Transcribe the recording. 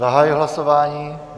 Zahajuji hlasování.